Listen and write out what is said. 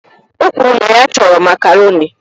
O kwuru na ya chọrọ Makaroni